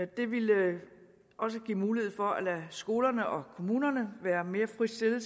det ville også give mulighed for at lade skolerne og kommunerne være mere fritstillede